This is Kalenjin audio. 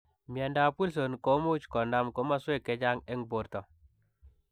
Miandap wilson komuuch konam komaswek chechang eng portoo.